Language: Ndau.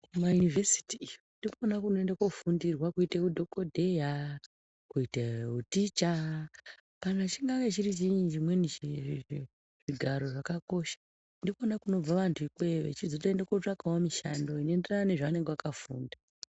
Kumayunivhesiti ndiko kunohambiwa kunofundwa kuita madhogodheya ,uticha nezvimwe zvigaro zvakakosha amweni anozotsvaga mishando inohambirana nedzidzo yavo.